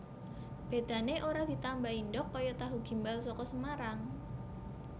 Bedane ora ditambahi ndhog kaya tahu gimbal saka Semarang